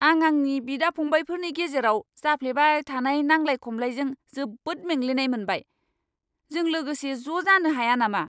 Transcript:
आं आंनि बिदा फंबायफोरनि गेजेराव जाफ्लेबाय थानाय नांलाय खमलाइजों जोबोद मेंग्लिनाय मोनबाय। जों लोगोसे ज' जानो हाया नामा?